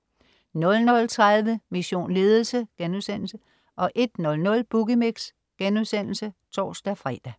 00.30 Mission Ledelse* 01.00 Boogie Mix* (tors-fre)